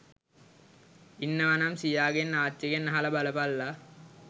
ඉන්නවනම් සීයාගෙන් ආච්චිගෙන් අහල බලපල්ලා